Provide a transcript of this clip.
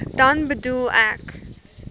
dan bedoel ek